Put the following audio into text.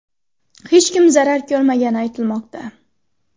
Hech kim zarar ko‘rmagani aytilmoqda.